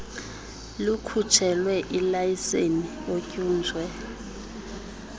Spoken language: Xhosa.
likhutshelwe ilayiseni otyunjwe